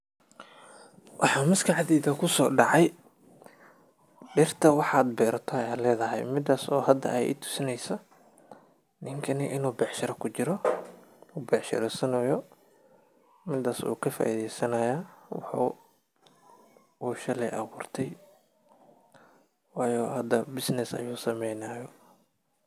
Waxa maskaxdeyda kusodacay, diirta waxad berato aya ledaxay, midas oo xada ay itusinayso, ninkani inu becshira kujiro, u becshireysonoyu midas uu kafaideysanaya wuxu u shaley aburtey, wayo xadaha business ayu sameynixayo.